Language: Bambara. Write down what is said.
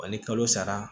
Wa ni kalo sara